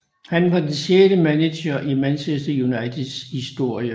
Han var den sjette manager i Manchester Uniteds historie